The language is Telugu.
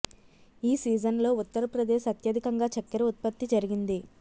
ఈ సీజన్లో ఉత్తర ప్రదేశ్ అత్యధికంగా చక్కెర ఉత్పత్తి జరిగింది